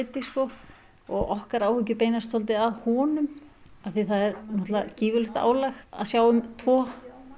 og okkar áhyggjur beinast kannski svolítið að honum því það er náttúrlega gífurlegt álag að sjá um tvo